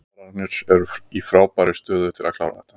Valsararnir eru í frábærri stöðu til að klára þetta.